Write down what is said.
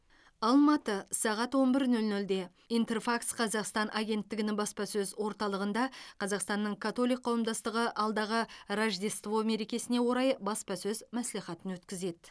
алматы сағат он бір нөл нөлде интерфакс қазақстан агенттігінің баспасөз орталығында қазақстанның католик қауымдастығы алдағы рождество мерекесіне орай баспасөз мәслихатын өткізеді